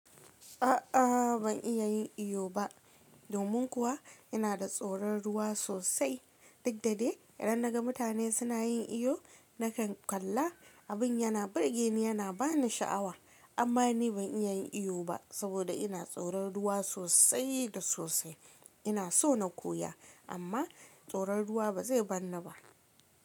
A'a ban iya yin iyo ba. Domin kuwa ina da tsoron ruwa sosai. Duk da dai, idan naga mutane suna yin iyo, nakan kalla. Abin yana burgeni yana bani sha'awa amma ni ban iya yin iyo ba, saboda ina tsoron ruwa sosai da sosai. Ina so na koya amma tsoron ruwa ba zai bar ni ba.